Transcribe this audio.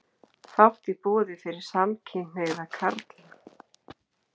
Fátt í boði fyrir samkynhneigða karla